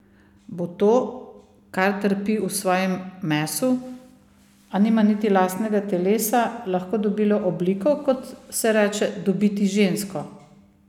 Bo to, kar trpi v svojem mesu, a nima niti lastnega telesa, lahko dobilo obliko, kot se reče dobiti žensko?